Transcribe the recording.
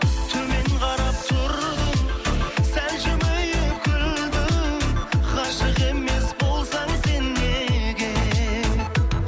төмен қарап тұрдың сәл жымиып күлдің ғашық емес болсаң сен неге